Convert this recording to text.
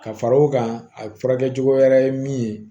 Ka fara o kan a furakɛ cogo wɛrɛ ye min ye